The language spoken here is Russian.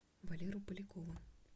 валеру полякова